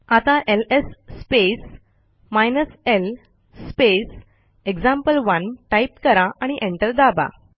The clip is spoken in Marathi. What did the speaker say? आता LS space hyphen L space example one type करा आणि एंटर दाबा